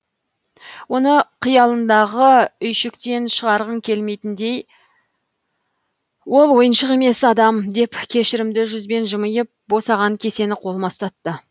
оны қиялыңдағы үйшіктен шығарғың келмейтіндей ол ойыншық емес адам деп кешірімді жүзбен жымиып босаған кесені қолыма ұстатты